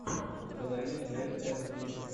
установи джей эс ви